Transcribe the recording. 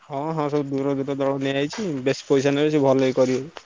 ହଁ ହଁ ସେ ଦୂର ବେଶୀ ପଇସା ନେବେ ସେ ଭଲ କି କରିବେ।